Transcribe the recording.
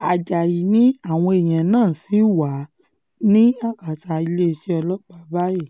ajáyí ni àwọn èèyàn náà ṣì wà ní akátá iléeṣẹ́ ọlọ́pàá báyìíì